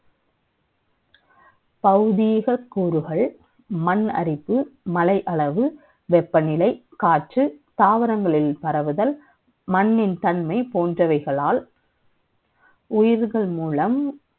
பௌதிக கூறுகள் மண்ணெடுத்து மலையளவு வெப்பநிலை காற்று தாவரங்கள் மூலம் பரவுதல் மண்ணின் தன்மை போன்றவைகளால் உயிர்கள் மூலம்